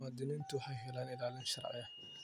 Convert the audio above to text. Muwaadiniintu waxay helaan ilaalin sharci.